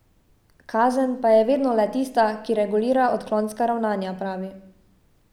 Kazen pa je vedno le tista, ki regulira odklonska ravnanja, pravi.